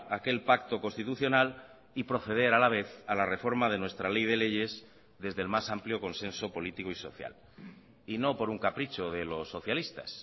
aquel pacto constitucional y proceder a la vez a la reforma de nuestra ley de leyes desde el más amplio consenso político y social y no por un capricho de los socialistas